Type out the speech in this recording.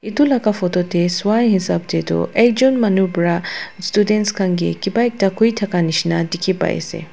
etu laga photo te sua hisab te tu ekjont manu para student khan ke kiba ekta koi thaka nisna dekhi pai ase.